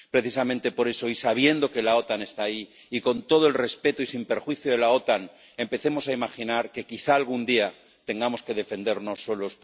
Precisamente por eso —y sabiendo que la OTAN está ahí, y con todo el respeto, y sin perjuicio de la OTAN—, empecemos a imaginar que quizás, algún día, tengamos que defendernos solos.